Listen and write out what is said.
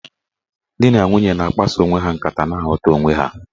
Dị na nwunye na-akpaso onwe ha nkata na-aghọta onwe ha.